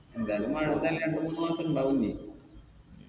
എന്തായാലും മഴ എന്തായാലും രണ്ട് മൂന്ന് മാസുണ്ടാവൂലെ